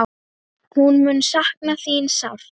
Hún mun sakna þín sárt.